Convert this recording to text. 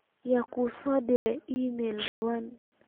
yaa u soo direy iimayl dhawaan